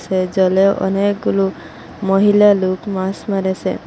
এ জলে অনেকগুলো মহিলা লোক মাস মেরেসে ।